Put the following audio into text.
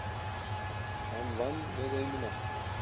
Fram vann með einu marki